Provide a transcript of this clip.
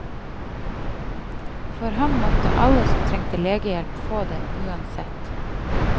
For ham måtte alle som trengte legehjelp, få det, uansett.